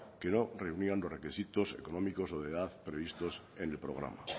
que no reunían los requisitos económicos o de edad previstos en el programa